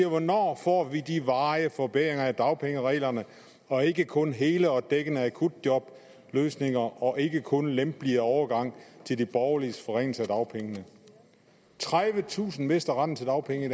hvornår får vi de varige forbedringer af dagpengereglerne og ikke kun hele og dækkende akutjobløsninger og ikke kun en lempeligere overgang til de borgerliges forringelser af dagpengene tredivetusind mister retten til dagpenge i